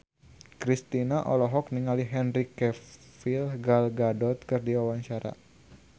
Kristina olohok ningali Henry Cavill Gal Gadot keur diwawancara